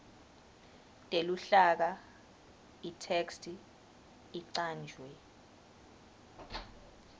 teluhlaka itheksthi icanjwe